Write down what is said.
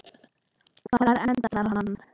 Hvar endar hann?